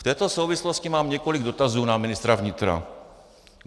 V této souvislosti mám několik dotazů na ministra vnitra.